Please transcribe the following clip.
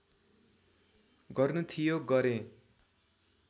गर्नु थियो गरेँ